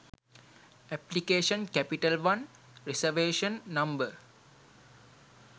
application capital one reservation number